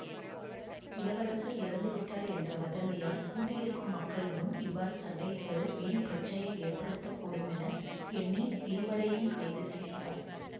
இளவரசர் இறந்துவிட்டார் என்ற வதந்தியால் கூடியிருக்கும் மக்கள் முன் இவ்வாறு சண்டையிடுவது வீண் பிரட்சையை ஏற்படுத்த கூடுமென எண்ணி இருவரையும் கைது செய்கிறார்